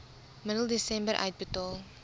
middel desember uitbetaal